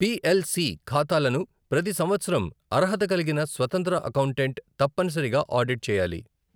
P L C ఖాతాలను ప్రతి సంవత్సరం అర్హత కలిగిన స్వతంత్ర అకౌంటెంట్ తప్పనిసరిగా ఆడిట్ చేయాలి.